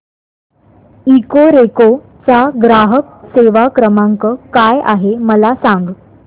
Ecoreco चा ग्राहक सेवा क्रमांक काय आहे मला सांग